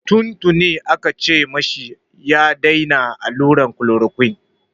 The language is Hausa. Tun tuni aka ce ma shi ya daina alluran chloroquine.